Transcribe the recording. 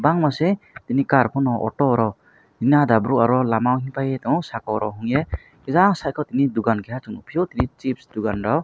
bangma se chini car fano auto rok ani ada bro lama rok tai tongo saka o rokeiei kisa saiko tini dukan kiya tongfio chips dugan rok.